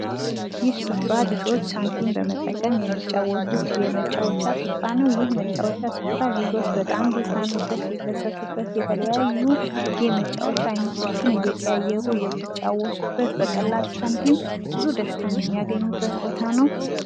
ይህ ስፍራ ልጆች ሳንቲም በመጠቀም የሚጫወቱት የመጫወቻ ስፍራ ነው ፤ ይህ የመጫወቻ ስፍራ ልጆች በጣም ሊዝናኑበት፣ ሊደሰቱበት፣ የተለያዩ የመጫወቻ አይነቶችን እየቀያየሩ የሚጫወቱበት፣ በቀላል ሳንቲም ብዙ ደስታን የሚያገኙበት ቦታ ነው።